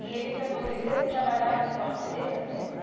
E ele se aposentou, ele trabalhava em qual empresa mesmo?